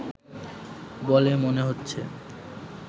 বলে মনে হচ্ছে